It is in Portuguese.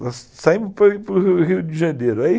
Nós saímos para o Rio de Janeiro.